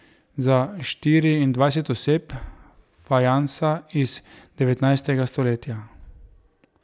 Za štiriindvajset oseb, fajansa iz devetnajstega stoletja.